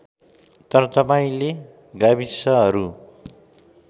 तर तपाईँले गाविसहरू